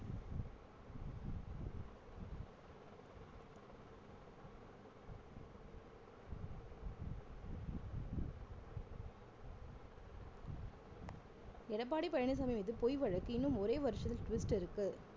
எடப்பாடி பழனிச்சாமி மீது பொய் வழக்கு இன்னும் ஒரே வருஷத்தில் twist இருக்கு